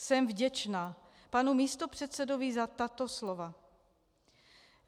Jsem vděčna panu místopředsedovi za tato slova.